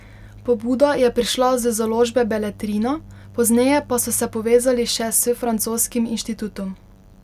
Pobuda je prišla z založbe Beletrina, pozneje pa so se povezali še s francoskim inštitutom.